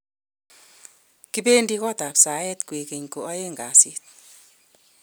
kibendi kootab saet kwekeny ko oeng' kasit